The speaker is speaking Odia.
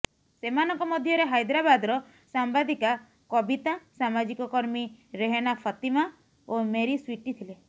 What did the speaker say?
ସେମାନଙ୍କ ମଧ୍ୟରେ ହାଇଦ୍ରାବାଦର ସାମ୍ବାଦିକା କବିତା ସାମାଜିକ କର୍ମୀ ରେହନା ଫାତିମା ଓ ମେରି ସ୍ୱିଟି ଥିଲେ